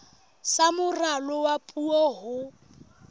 sa moralo wa puo ho